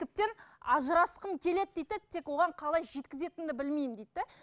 тіптен ажырасқым келеді дейді де тек оған қалай жеткізетінімді білмеймін дейді де